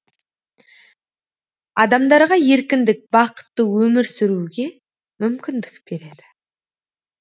адамдарға еркіндік бақытты өмір сүруге мүмкіндік береді